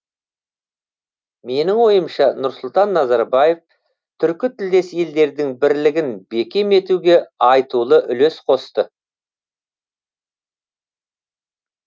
менің ойымша нұрсұлтан назарбаев түркі тілдес елдердің бірлігін бекем етуге айтулы үлес қосты